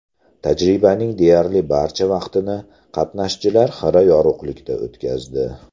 Tajribaning deyarli barcha vaqtini qatnashchilar xira yorug‘likda o‘tkazdi.